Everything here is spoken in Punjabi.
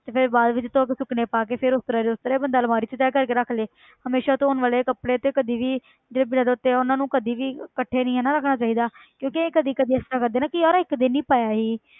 ਤੇ ਫਿਰ ਬਾਅਦ ਵਿੱਚ ਧੌ ਕੇ ਸੁਕਣੇ ਪਾ ਕੇ ਫਿਰ ਉਸ ਤਰ੍ਹਾਂ ਦੀ ਉਸ ਤਰ੍ਹਾਂ ਬੰਦਾ ਅਲਮਾਰੀ ਵਿੱਚ ਤੈਅ ਕਰਕੇ ਰੱਖ ਲਏ ਹਮੇਸ਼ਾ ਧੌਣ ਵਾਲੇ ਕੱਪੜੇ ਤੇ ਕਦੇ ਵੀ ਜਿਹੜੇ ਬਿਨਾਂ ਧੌਤੇ ਆ ਉਹਨਾਂ ਨੂੰ ਕਦੇ ਵੀ ਇਕੱਠੇ ਨੀ ਹਨਾ ਰੱਖਣਾ ਚਾਹੀਦਾ ਕਿਉਂਕਿ ਅਸੀਂ ਕਦੇ ਕਦੇ ਇਸ ਤਰ੍ਹਾਂ ਕਰਦੇ ਨਾ ਕਿ ਯਾਰ ਇੱਕ ਦਿਨ ਹੀ ਪਾਇਆ ਸੀ